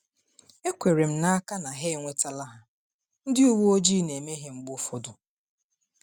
Ekwere m n’aka na ha enwetala ha; ndị uweojii na-emehie mgbe ụfọdụ.